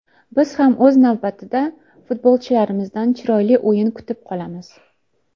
Biz ham o‘z navbatida futbolchilarimizdan chiroyli o‘yin kutib qolamiz.